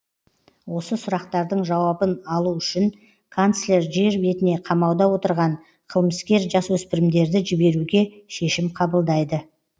осы сұрақтардың жауабын алу үшін канцлер жер бетіне қамауда отырған қылмыскер жасөсіпірімдерді жіберуге шешім қабылдайды